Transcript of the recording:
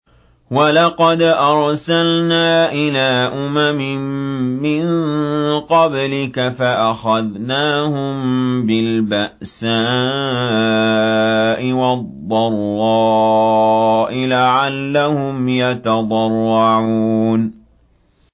وَلَقَدْ أَرْسَلْنَا إِلَىٰ أُمَمٍ مِّن قَبْلِكَ فَأَخَذْنَاهُم بِالْبَأْسَاءِ وَالضَّرَّاءِ لَعَلَّهُمْ يَتَضَرَّعُونَ